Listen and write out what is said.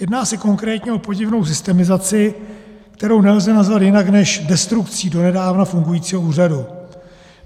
Jedná se konkrétně o podivnou systemizaci, kterou nelze nazvat jinak než destrukcí donedávna fungujícího úřadu.